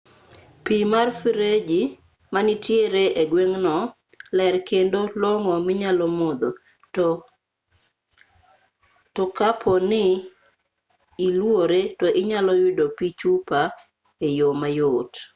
pi mar freji manitiere e gweng'no ler kendo long'o minyalo modho to kapo ni iluore to inyalo yudo pi chupa e yo mayot